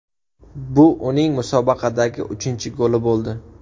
Bu uning musobaqadagi uchinchi goli bo‘ldi.